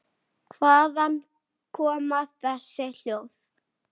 Hvaðan koma þessi hljóð?